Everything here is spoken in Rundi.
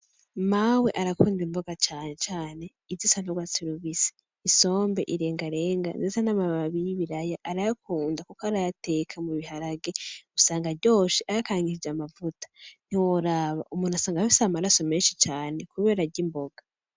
Mawe arakunda imboga cane cane izisa n' ugwatsi rubisi, isombe , irengarenga ndetse namababi yibiraya arayakunda kuko arayateka mubiharage usanga aryoshe. Ayakaragishije amavuta ntiworaba umuntu usanga afise amaraso menshi cane kubera arya imboga.